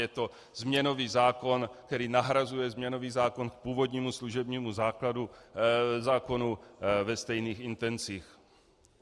Je to změnový zákon, který nahrazuje změnový zákon k původnímu služebnímu zákonu ve stejných intencích.